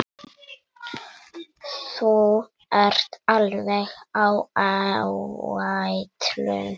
Þú ert alveg á áætlun.